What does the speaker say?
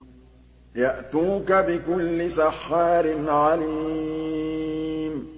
يَأْتُوكَ بِكُلِّ سَحَّارٍ عَلِيمٍ